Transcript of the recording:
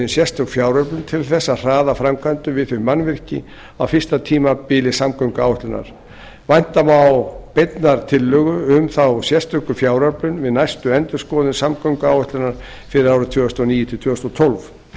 sérstök fjáröflun til þess að hraða framkvæmdum við þau mannvirki á fyrsta tímabili samgönguáætlunar vænta má beinnar tillögu um þá sérstöku fjáröflun við næstu endurskoðun samgönguáætlunar fyrir árin tvö þúsund og níu til tvö þúsund og tólf